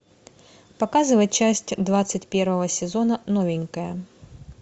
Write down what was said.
показывай часть двадцать первого сезона новенькая